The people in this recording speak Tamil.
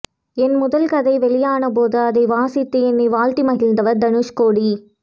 என் முதல் கதை வெளியான போது அதை வாசித்து என்னை வாழ்த்தி மகிழ்ந்தவர் தனுஷ்கோடி